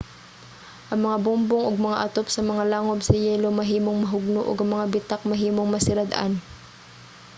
ang mga bungbong ug mga atop sa mga langob sa yelo mahimong mahugno ug ang mga bitak mahimong masirad-an